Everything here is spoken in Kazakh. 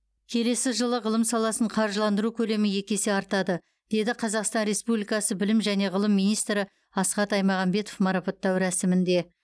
келесі жылы ғылым саласын қаржыландыру көлемі екі есе артады деді қазақстан республикасы білім және ғылым министрі асхат аймағамбетов марапаттау рәсімінде